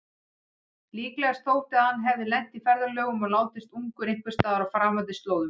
Líklegast þótti að hann hefði lent í ferðalögum og látist ungur einhversstaðar á framandi slóðum.